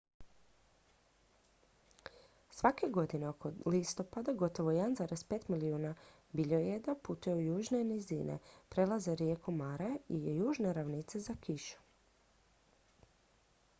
svake godine oko listopada gotovo 1,5 milijuna biljojeda putuje u južne nizine prelaze rijeku mara i južne ravnice za kišom